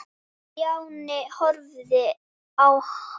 Stjáni horfði á hann.